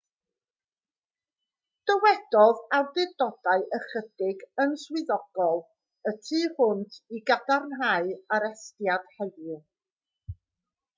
dywedodd awdurdodau ychydig yn swyddogol y tu hwnt i gadarnhau arestiad heddiw